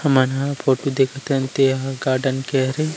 हमन ह फोटु देखत हन ते ह गार्डन के हरे।